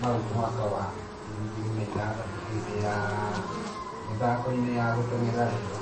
mau mwaka wa 2016 hĩndĩ ya .....mĩthako-inĩ ya olympics rio.